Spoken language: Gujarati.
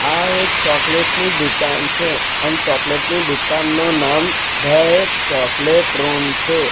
આ એક ચોકલેટ ની દુકાન છે અન ચોકલેટ ની દુકાનનું નામ ધ ચોકલેટ રૂમ છે.